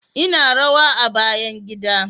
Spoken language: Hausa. Ina rawa a bayan gida